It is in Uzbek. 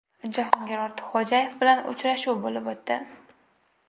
Jahongir Ortiqxo‘jayev bilan uchrashuv bo‘lib o‘tdi.